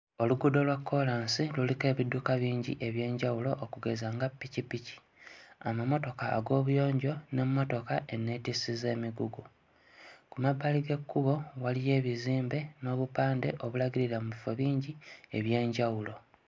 Oluguudo lwa koolansi luliko ebidduka bingi eby'enjawulo okugeza nga ppikipiki, amamotoka ag'obuyanjo n'emmotoka enneetissi z'emigugu. Ku mabbali g'ekkubo waliyo ebizimbe n'obupande obulagirira mu bifo bingi eby'enjawulo.